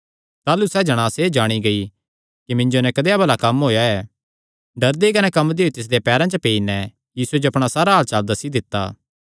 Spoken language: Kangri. ताह़लू सैह़ जणांस एह़ जाणी गेई कि मिन्जो नैं कदेया भला कम्म होएया ऐ डरदी कने कम्मदी होई तिसदेयां पैरां च पेई नैं यीशुये जो अपणा सारा हाल सच्चसच्च दस्सी दित्ता